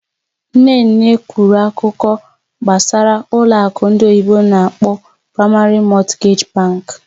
Nne nne kwuru akụkọ gbasara ụlọ akụ ndị oyibo n'akpọ "Primary Mortgage Bank",